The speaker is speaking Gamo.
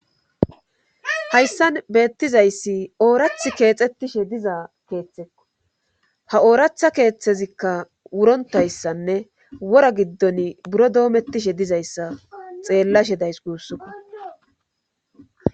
Hayssan beettizayssi oorath keexxettishe diza keeththekko ha ooratha keeththezikka wurontayssanne wora giddon buro doomettishe dizayssa xeellashe days guussoko